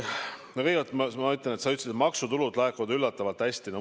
Kõigepealt, sa ütlesid, et maksutulud laekuvad üllatavalt hästi.